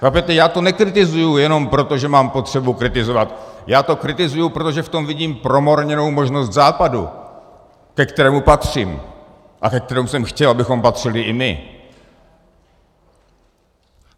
Chápete, já to nekritizuju jenom proto, že mám potřebu kritizovat, já to kritizuju, protože v tom vidím promarněnou možnost Západu, ke kterému patřím a ke kterému jsem chtěl, abychom patřili i my.